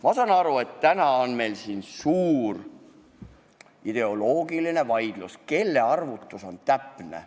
Ma saan aru, et täna on meil siin suur ideoloogiline vaidlus, kelle arvutus on täpne.